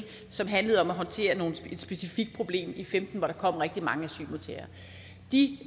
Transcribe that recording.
som handlede om at håndtere et specifikt problem i femten hvor der kom rigtig mange asylansøgere de